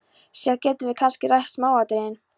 Síðar getum við kannski rætt smáatriðin.